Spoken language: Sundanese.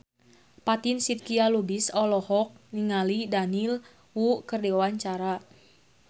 Fatin Shidqia Lubis olohok ningali Daniel Wu keur diwawancara